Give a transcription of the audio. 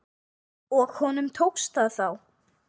Og tókst honum það þá?